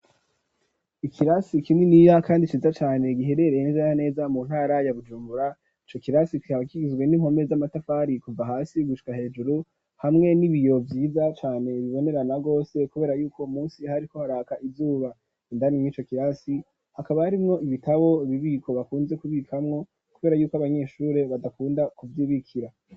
Ikirasi kininiya kandi ciza cane giherereye neza na neza mu ntara ya Bujumbura ico kirasi kikaba kigizwe n'inpome z'amatafari kuva hasi gushika hejuru hamwe n'ibiyo vyiza cane bibonerana gose kubera yuko uwo musi hariko haraka izuba indani yico kirasi hakaba harimwo ibitabo bibiko bakunze kubikamwo kubera yuko abanyeshuri badakunda kuvyibikira.